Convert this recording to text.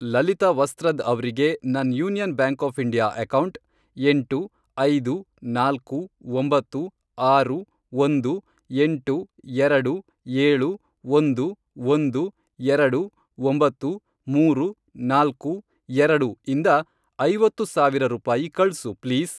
ಲಲಿತಾ ವಸ್ತ್ರದ್ ಅವ್ರಿಗೆ ನನ್ Union Bank of India account, ಎಂಟು, ಐದು, ನಾಲ್ಕು, ಒಂಬತ್ತು, ಆರು, ಒಂದು, ಎಂಟು, ಎರಡು, ಏಳು, ಒಂದು, ಒಂದು, ಎರಡು, ಒಂಬತ್ತು, ಮೂರು, ನಾಲ್ಕು, ಎರಡು, ಇಂದ, ಐವತ್ತು ಸಾವಿರ ರೂಪಾಯಿ ಕಳ್ಸು ಪ್ಲೀಸ್.